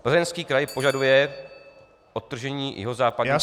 Plzeňský kraj požaduje odtržení jihozápadní třetiny..."